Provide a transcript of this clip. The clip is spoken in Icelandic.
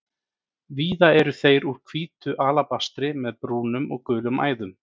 Víða eru þeir úr hvítu alabastri með brúnum og gulum æðum.